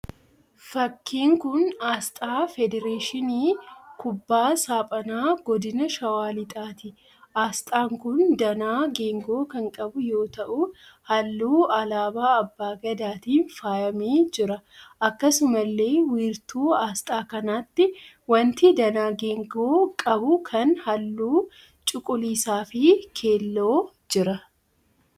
Fakkii kun asxaa Federeeshinii Kubbaa Saaphanaa Godina Shawwaa Lixaati. Asxaan kun danaa geengoo kan qabu yoo ta'u halluu alaabaa abbaa Gadaatiin faayyamee jira. Akkasumallee wiirtuu asxaa kanaatti wanti danaa geengoo qabu kan halluu cuquliisaa fi keelloo jira.